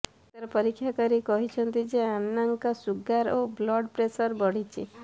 ଡାକ୍ତର ପରୀକ୍ଷା କରି କହିଛନ୍ତି ଯେ ଆନ୍ନାଙ୍କ ସୁଗାର ଓ ବ୍ଲଡ୍ ପ୍ରେସର ବଢ଼ିଛି